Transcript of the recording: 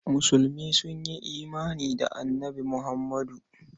Musulmi sun yi imani da Annabi Muhammadu.